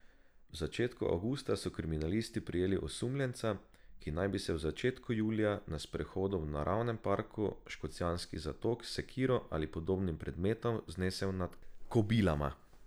V začetku avgusta so kriminalisti prijeli osumljenca, ki naj bi se v začetku julija na sprehodu v naravnem parku Škocjanski zatok s sekiro ali podobnim predmetom znesel nad kobilama.